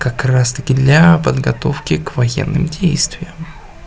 как раз-таки для подготовки к военным действиям